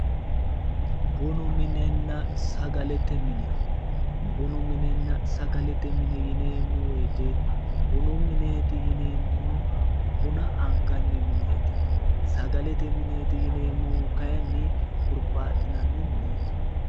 Bunu minenna sagalete mine, bunu minenna sagalete mine yineemmohu woyte bunu mineti yineemmohu buna anganni mineti, sagalete mineti yineemmohu kayinni hurubaxinanni mineti.